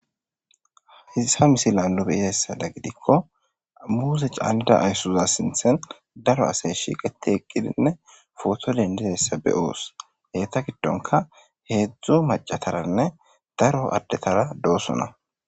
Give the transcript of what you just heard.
Hayissa missilanni nu be'izayyissaththo giddikko muze canid ayisuza sinththanni daro asayi shiqqetti eqqidinne photo denidizayissa be'os.eta giddonkka hezdzdu macataranne daro adetara de'osona.